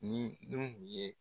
Nin dun ye